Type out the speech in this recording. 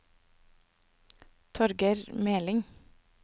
Torger Meling